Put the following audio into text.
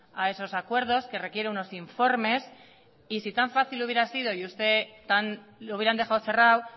a esos acuerdos que requiere unos informes y si tan fácil hubiera sido y ustedes lo hubieran dejado cerrado